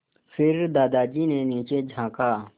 फिर दादाजी ने नीचे झाँका